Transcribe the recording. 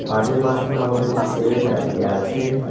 মাঠের মাঝখানে অনেকজন ছেলে দাঁড়িয়ে আছে।